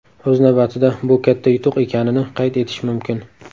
O‘z navbatida bu katta yutuq ekanini qayd etish mumkin.